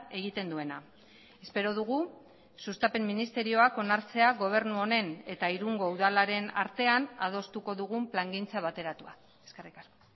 egiten duena espero dugu sustapen ministerioak onartzea gobernu honen eta irungo udalaren artean adostuko dugun plangintza bateratua eskerrik asko